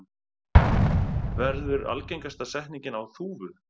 verður algengasta setningin á Þúfu.